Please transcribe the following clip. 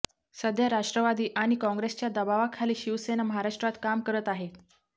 सध्या राष्ट्रवादी आणि कॉंग्रेसच्या दबावाखाली शिवसेना महाराष्ट्रात काम करत आहे